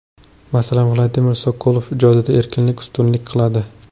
Masalan, Vladimir Sokolov ijodida erkinlik ustunlik qiladi.